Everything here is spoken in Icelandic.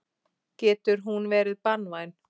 Getur hún verið banvæn.